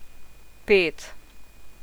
Pet.